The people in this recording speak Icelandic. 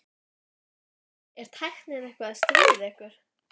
Jóhanna: Er tæknin eitthvað að stríða ykkur?